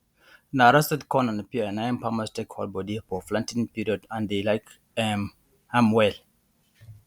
na roasted corn and pear na im farmers take dey hold body for planting period and dey like um am well